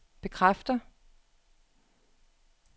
bekræfter